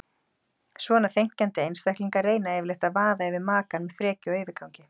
Svona þenkjandi einstaklingar reyna yfirleitt að vaða yfir makann með frekju og yfirgangi.